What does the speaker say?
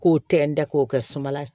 K'o tɛntɛn k'o kɛ sumala